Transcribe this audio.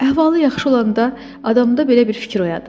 Əhvalı yaxşı olanda adamda belə bir fikir oyadır: